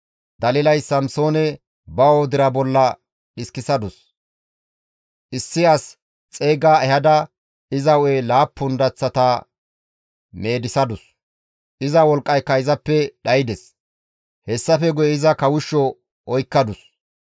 Dalilay Samsoone ba wodira bolla dhiskisadus; issi as xeyga ehada iza hu7e laappun daththata meedisadus; iza wolqqayka izappe dhaydes; hessafe guye iza kawushsho oykkadus;